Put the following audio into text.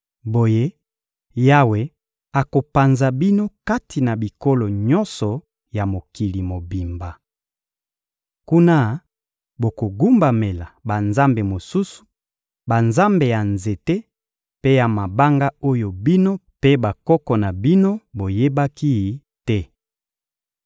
Boye, Yawe akopanza bino kati na bikolo nyonso ya mokili mobimba. Kuna bokogumbamela banzambe mosusu: banzambe ya nzete mpe ya mabanga oyo bino mpe bakoko na bino boyebaki te.